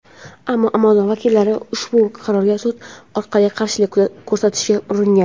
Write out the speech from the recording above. ammo "Amazon" vakillari ushbu qarorga sud orqali qarshilik ko‘rsatishga uringan.